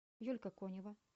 юлька конева